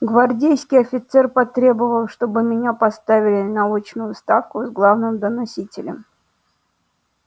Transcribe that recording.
гвардейский офицер потребовал чтоб меня поставили на очную ставку с главным доносителем